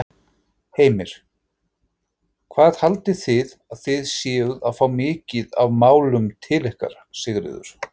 Heimir: Hvað haldið þið að þið séuð að fá mikið af málum til ykkar, Sigríður?